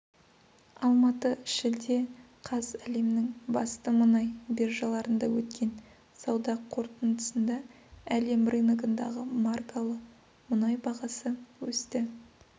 алматы шілде қаз әлемнің басты мұнай биржаларында өткен сауда қортындысында әлем рыногындағы маркалы мұнай бағасы өсті